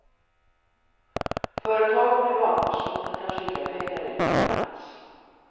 Företag och privatpersoner kan skicka pengar utomlands.